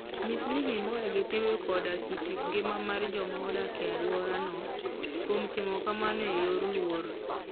Nyis ni imor gi timbe koda kit ngima mar joma odak e alworano, kuom timo kamano e yor luor.